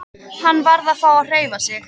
Hann varð að fá að hreyfa sig.